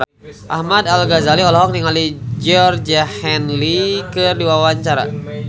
Ahmad Al-Ghazali olohok ningali Georgie Henley keur diwawancara